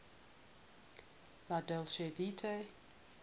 la dolce vita